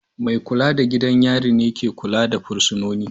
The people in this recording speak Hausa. Mai kula da gidan yari ne ke kula da fursunoni.